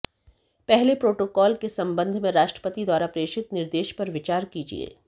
पहले प्रोटोकाल के संबंध में राष्ट्रपति द्वारा प्रेषित निर्देश पर विचार कीजिए